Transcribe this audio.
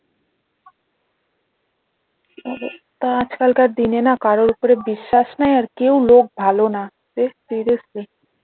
তা আজকাল কার দিনে না কারোর ওপর এ বিশ্বাস না আর কেউ লোক ভালো না